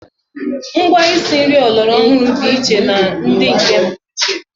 Ngwa isi nri ọlọrọ ọhụrụ dị iche na ndị nke mgbe ochie.